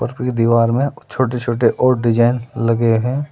और फिर दीवार में कुछ छोटे छोटे और डिजाइन लगे हैं।